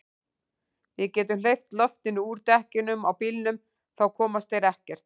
Við getum hleypt loftinu úr dekkjunum á bílnum. þá komast þeir ekkert.